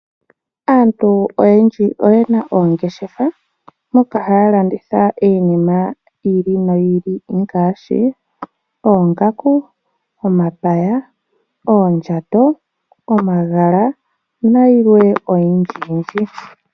Aantu oyendji oyena oongeshefa moka haya landitha enima yi ili noyi ili ngaashi oongaku, omapaya, oondjato , omagala nayilwe oyindji yindji .